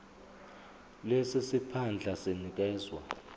lesi siphandla sinikezwa